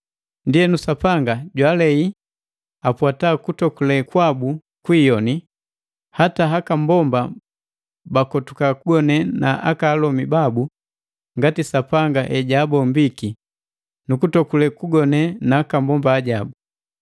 Ndienu Sapanga jwaalei apwata kutogule kwabu kwiiyoni. Hata haka mbomba bakotuka kugone na aka alomi babu ngati Sapanga hejabombiki, nukutokule kugone nakambomba ajabu.